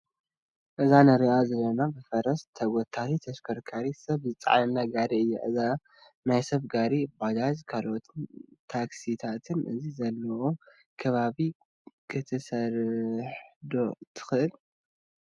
እዛ ንሪኣ ዘለና ብፈረስ ትጐተት ተሽከርካሪት ሰብ ዝፀዓነላ ጋሪ እያ፡፡ እዛ ናይ ሰብ ጋሪ ባጃጅን ካልኦት ታክሲታትን ኣብ ዘለዉኦ ከባቢ ክትሰርሕ ዶ ትኽእል?